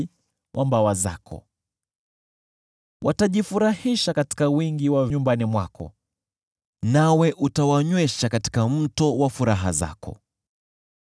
Wanajifurahisha katika wingi nyumbani mwako, nawe utawanywesha katika mto wa furaha zako.